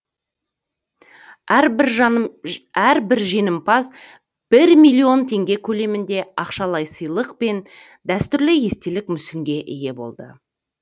әрбір жеңімпаз бір миллион теңге көлемінде ақшалай сыйлық пен дәстүрлі естелік мүсінге ие болды